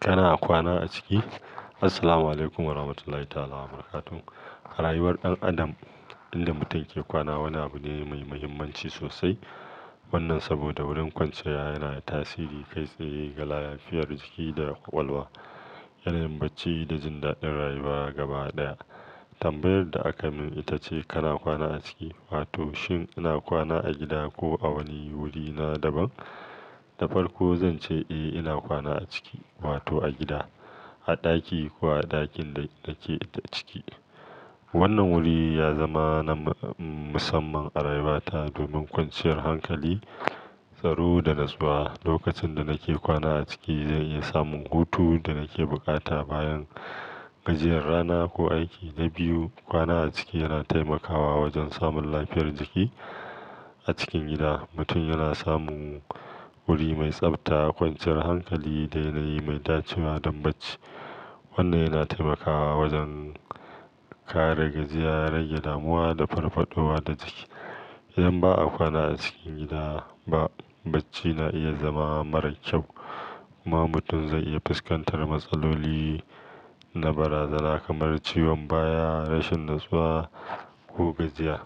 Kana kwana a ciki? Assalamualaikum Warahmatullahi Wabarakatuh. A rayuwar ɗan adam, inda mutum ke kwana wani abu ne mai muhimmanci sosai. Wannan saboda wurin kwanciya yana da tasiri kai tsaye ga lafiyar jiki da ƙwaƙwalwa, yanayin bacci da jin daɗin rayuwa gaba ɗaya. Tambayar da aka min ita ce kana kwana a ciki? Wato, shin ina kwana a gida ko a wani wuri na daban? Da farko zan ce eh, ina kwana a ciki wato a gida, a ɗaki ko a ɗakin da nake ciki. Wannan wuri ya zama na musamman a rayuwata domin kwanciyar hankali, tsaro da natsuwa. Lokacin da nake kwana a ciki, zan iya samun hutu da nake bukata bayan gajiyar rana ko aiki. Na biyu, kwana a ciki yana taimakawa wajen samun lafiyar jiki. A cikin gida, mutum yana samun wuri mai tsabta, kwanciyar hankali da yanayi mai dacewa don bacci. Wannan yana taimakawa wajen kare gajiya, rage damuwa da farfaɗowa da jiki. Idan ba a kwana a cikin gida ba, bacci na iya zama mara kyau kuma mutum zai iya fuskantar matsaloli na barazana kamar ciwon baya, rashin natsuwa ko gajiya.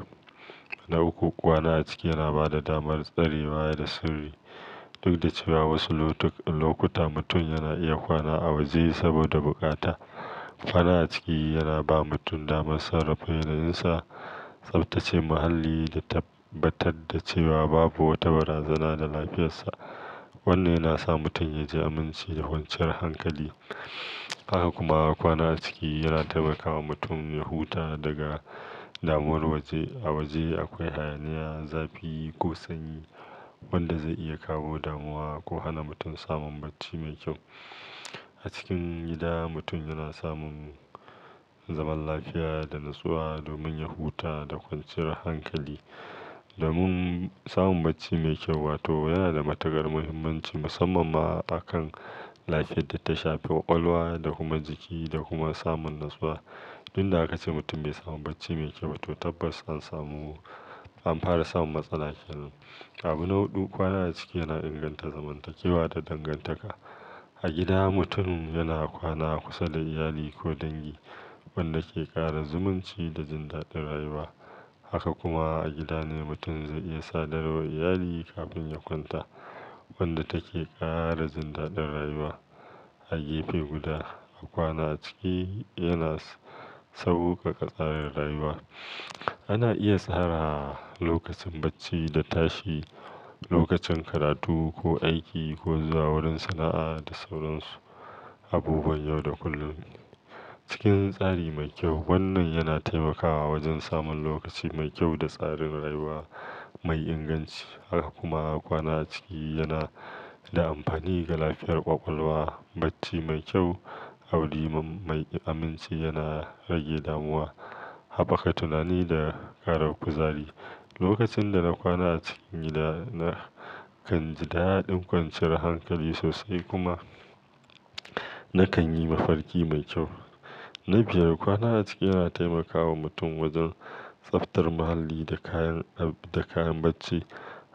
Na uku, kwana a ciki yana ba da damar tsarewa da sirri. Duk da cewa wasu lokuta mutum yana iya kwana a waje saboda bukata, kwana a ciki yana ba mutum damar sarrafa yanayinsa. Saboda ita ce muhalli da tabbatar da cewa babu wata barazana ga lafiyarsa. Wannan yana sa mutum ya ji aminci da kwanciyar hankali. Haka kuma kwana a ciki yana taimaka wa mutum ya huta daga damuwar waje. A waje akwai hayaniya, zafi ko sanyi wanda zai iya kawo damuwa ko hana mutum samun bacci mai kyau. A cikin gida, mutum yana samun zaman lafiya da natsuwa domin ya huta da kwanciyar hankali. Domin samun bacci mai kyau wato yana da matukar muhimmanci, musamman ma a kan lafiyar da tala shafe ƙwaƙwalwa da kuma jiki da kuma samun natsuwa. Duk da haka, ce mutum bai samu bacci mai kyau ba, to tabbas an samu an fara samun matsala. Abu na huɗu, kwana a ciki yana inganta zamantakewa da dangantaka. A gida mutum yana kwana kusa da iyali ko dangi wanda ke ƙara zumunci da jin daɗin rayuwa. Haka kuma a gida ne mutum zai iya sadarwa iyali kafin ya kwanta, wanda take ƙara jin daɗin rayuwa. A gefe guda, a kwana a ciki yana sauƙaƙa tsarin rayuwa. Ana iya tsara lokacin bacci da tashi, lokacin karatu ko aiki ko zuwa wurin sana'a da sauran su abubuwan yau da kullum cikin tsari mai kyau. Wannan yana taimakawa wajen samun lokaci mai kyau da tsarin rayuwa mai inganci. Haka kuma kwana a ciki yana da amfani ga lafiyar ƙwaƙwalwa. Bacci mai kyau a wuri mai aminci yana rage damuwa, haɓa ka tunani da ƙara kuzari. Lokacin da na kwana a cikin gida, na kan ji daɗin kwanciyar hankali sosai kuma nakan yi mafarki mai kyau. Na biyar, kwana a ciki yana taimakawa mutum wajen tsabtar muhalli da kayan da kayan bacci.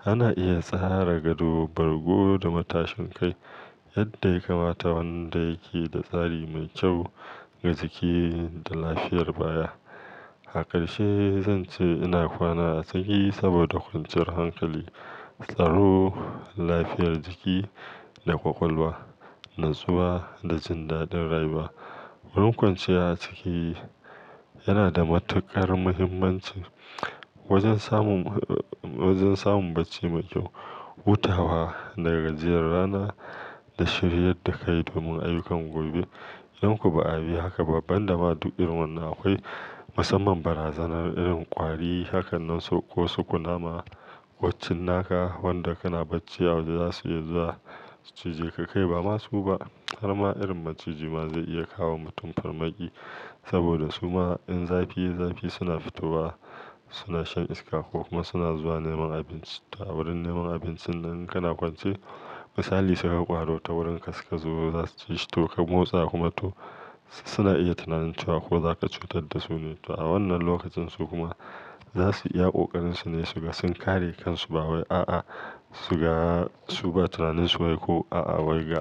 Ana iya tsarara gado, bargo da matashin kai yadda ya kamata wanda yake da tsari mai kyau ga jiki da lafiyar baya. Aƙarshe zan ce ina kwana a ciki saboda kwanciyar hankali, tsaro, lafiyar jiki da ƙwaƙwalwa, natsuwa da jin daɗin rayuwa. Wurin kwanciya a ciki yana da matuƙar muhimmanci wajen samun, wajen samun bacci mai kyau, hutawa daga gajiyar rana da shirye da ka yi domin ayyukan gobe. Idan ko bi abi haka ba ban da ma duk irin wannan akwai musamman barazanar irin ƙwari. Haka nan so ko su kunama ko cinnaka wanda kana bacci a waje zasu iya zuwa su cije ka kai ba masu ba. Har ma irin maciji ma zai iya kawo wa mutum farmaki saboda suma in zafi ya yi zafi suna fito wa suna shan iska ko kuma suna zuwa neman abinci to a wurin neman abincin nan in kana kwance. Misali suka gan ƙwaro ta wurin ka suka zo zasu ci shi to ka motsa kuma to suna iya tunanin cewa ko za ka cutar da su ne. To a wannan lokacinsu kuma za su iya ƙoƙarin su ne su ga sun kare kansu ba wai a'a suga su ba tunaninsu wai ko a'a wai ga.